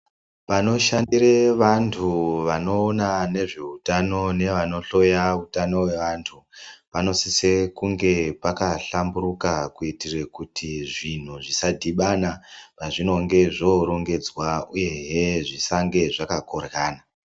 Vanoshandire vantu vanoona nezveutano nevano hloya utano wevantu panosise kunge pakahlamburuka kuitire kuti zvinhu zvisadhibana pazvinenge zvakurongedzwa uyezve zvisaramba zvaka kohlana.